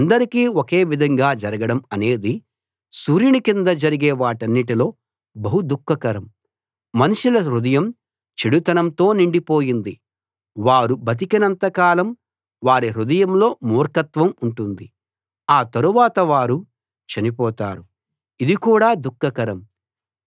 అందరికీ ఒకే విధంగా జరగడం అనేది సూర్యుని కింద జరిగే వాటన్నిటిలో బహు దుఃఖకరం మనుషుల హృదయం చెడుతనంతో నిండిపోయింది వారు బతికినంత కాలం వారి హృదయంలో మూర్ఖత్వం ఉంటుంది ఆ తరువాత వారు చనిపోతారు ఇది కూడా దుఃఖకరం